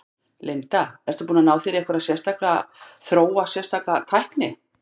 Linda: Ertu búinn að ná þér í einhverja sérstaka, þróa sérstaka tækni?